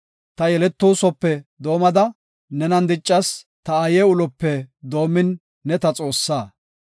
Ta yeletoosope doomada nenan diccas; ta aaye ulope doomin ne ta Xoossaa.